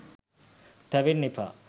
තැවෙන්න එපා.